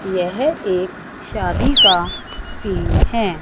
यह एक शादी का सीन है।